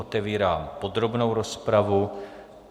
Otevírám podrobnou rozpravu.